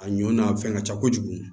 A ɲɔ n'a fɛn ka ca kojugu